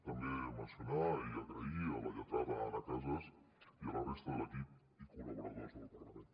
també mencionar i donar les gràcies a la lletrada anna casas i a la resta de l’equip i col·laboradors del parlament